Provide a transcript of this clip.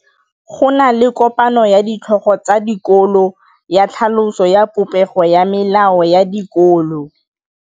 Go na le kopanô ya ditlhogo tsa dikolo ya tlhaloso ya popêgô ya melao ya dikolo.